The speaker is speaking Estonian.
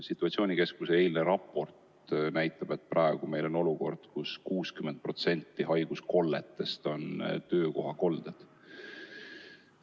Situatsioonikeskuse eilne raport näitab, et praeguses olukorras moodustavad 60% haiguskolletest töökohakolded.